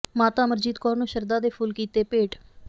ਮਾਤਾ ਅਮਰਜੀਤ ਕੌਰ ਨੂੰ ਸ਼ਰਧਾ ਦੇ ਫੁੱਲ ਕੀਤੇ ਭੇਟ